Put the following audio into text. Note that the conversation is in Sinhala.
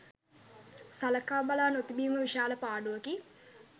සලකා බලා නොතිබීම විශාල පාඩුවකි.